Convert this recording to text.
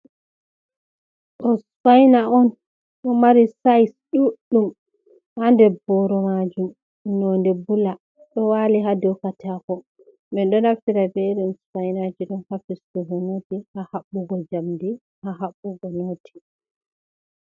Ɗo spaina on. Ɗo mari size ɗuɗɗum ha nder boro majum nonde bula ɗo wali ha dou katako. minɗo naftira be irin spainaji ɗo ha fistugo noti, ha haɓɓugo njamdi, ha haɓɓugo noti.